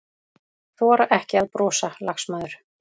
Þora ekki að brosa, lagsmaður.